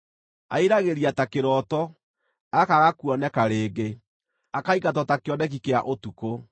Airagĩria ta kĩroto, akaaga kuoneka rĩngĩ, akaingatwo ta kĩoneki kĩa ũtukũ.